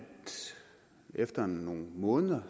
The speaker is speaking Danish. efter nogle måneder